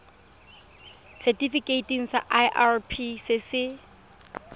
setifikeiting sa irp se se